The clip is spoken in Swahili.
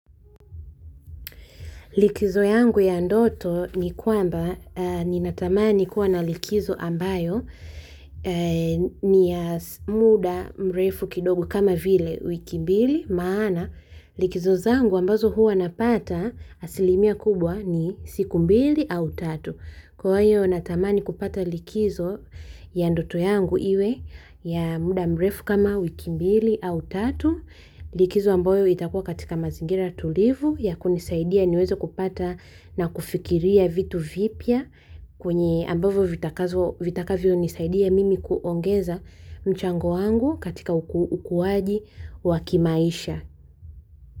Likizo yangu ya ndoto ni kwamba ninatamani kuwa na likizo ambayo ni ya muda mrefu kidogo kama vile wiki mbili maana likizo zangu ambazo huwa napata asilimia kubwa ni siku mbili au tatu. Kwa hiyo natamani kupata likizo ya ndoto yangu iwe ya muda mrefu kama wiki mbili au tatu, likizo ambayo itakuwa katika mazingira tulivu, ya kunisaidia niweze kupata na kufikiria vitu vipya kwenye ambavo vitakavyonisaidia mimi kuongeza mchango wangu katika ukuwaji wa kimaisha.